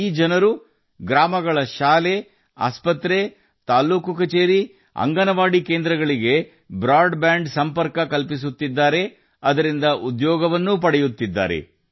ಈ ಜನರು ಗ್ರಾಮಗಳ ಶಾಲೆ ಆಸ್ಪತ್ರೆ ತಹಸಿಲ್ ಕಚೇರಿ ಅಂಗನವಾಡಿ ಕೇಂದ್ರಗಳಿಗೆ ಬ್ರಾಡ್ಬ್ಯಾಂಡ್ ಸಂಪರ್ಕ ನೀಡುತ್ತಿದ್ದು ಅದರಿಂದ ಉದ್ಯೋಗವನ್ನೂ ಪಡೆಯುತ್ತಿದ್ದಾರೆ